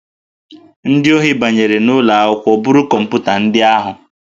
Ndị ohi banyere n'ụlọ akwụkwọ buru kọmputa ndị ahụ